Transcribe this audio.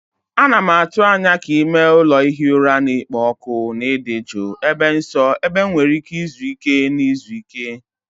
Ana m atụ anya ka ime ụlọ ihi ụra na-ekpo ọkụ na ịdị jụụ, ebe nsọ ebe m nwere ike izuike na izu ike.